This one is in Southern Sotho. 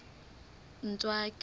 ntswaki